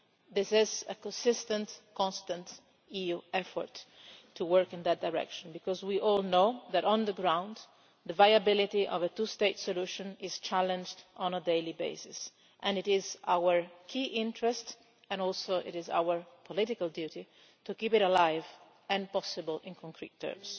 This is a consistent, constant EU effort to work in that direction because we all know that, on the ground, the viability of a two-state solution is challenged on a daily basis and it is our key interest and also it is our political duty to keep it alive and possible in concrete terms.